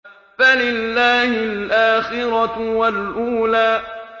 فَلِلَّهِ الْآخِرَةُ وَالْأُولَىٰ